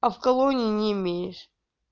а в колонии не имеешь